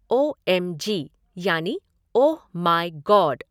ओ M G यानि oh my God!